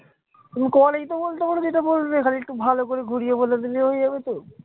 তুমি কলেই তো বলতে পারো যেটা বলবে। খালি একটু ভালো করে ঘুরিয়ে বলে দিলেই হয়ে যাবে তো?